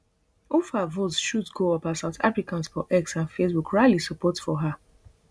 ufa votes shoot go up as south africans for x and facebook rally support for her